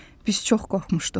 Biz çox qorxmuşduq.